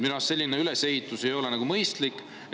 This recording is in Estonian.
Minu arust selline ülesehitus ei ole mõistlik.